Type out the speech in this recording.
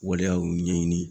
Waleyaw ɲɛɲini.